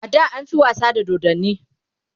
ada an fi wasa da dodanni